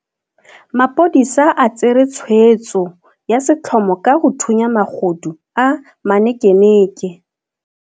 Maphodisa a tsere tshweetso ya setlhomo ka go thunya magodu a manekeneke.